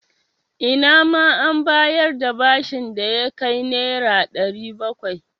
Ina ma an bayar da bashin da ya kai Naira 700.